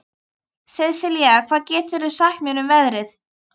Sesilía, hvað geturðu sagt mér um veðrið?